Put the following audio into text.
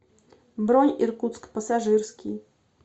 бронь иркутск пассажирский